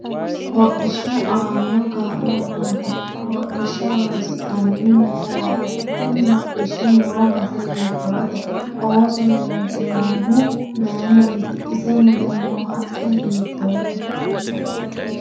Hodhishu aano kaa'lo maati hodhisha horoonsinanihu mayiirati kuni hodhishi noo base hiitoote oso loonsoohihu mayiiniti isi mule noo haqqe hiioote